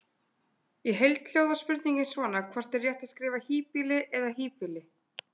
Í heild hljóðar spurningin svona: Hvort er rétt að skrifa híbýli eða hýbýli?